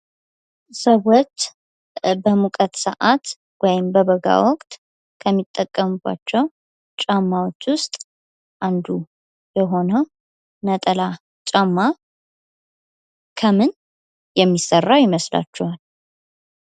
ሰዎች በሙቀት ሰአት ወይም በበጋ ወቅት ከሚጠቀሙባቸው ጫማዎች ውስጥ አንዱ የሆነው ነጠላ ጫማ ከምን የሚሰራ ይመስላችኋል?